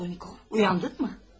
Raskolnikov, uyandın mı?